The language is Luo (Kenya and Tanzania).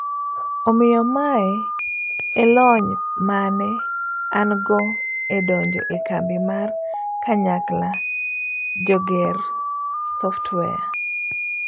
Omiyo mae e lony maane an go edonjo e kambi mar kanyakla joger software.